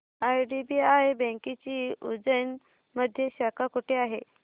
IDBI बँकेची उज्जैन मध्ये शाखा कुठे आहे